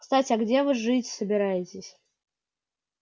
кстати а где вы жить собираетесь